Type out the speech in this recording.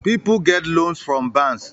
People get loans from bans